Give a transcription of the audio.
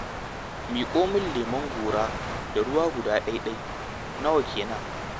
Miƙo min leman gora da ruwa guda ɗai-ɗai, nawa kenan?